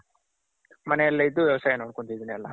ಮನೇಲೆ ಇದ್ದು ವ್ಯವಾಸಾಯ ನೋಡ್ಕೊಂತಿದ್ದಿನಿ ಎಲ್ಲಾ.